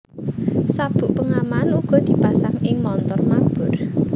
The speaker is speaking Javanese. Sabuk pengaman uga dipasang ing montor mabur